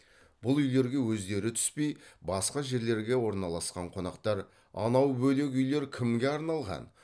бұл үйлерге өздері түспей басқа жерлерге орналасқан қонақтар анау бөлек үйлер кімге арналған